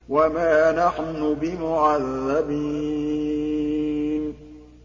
وَمَا نَحْنُ بِمُعَذَّبِينَ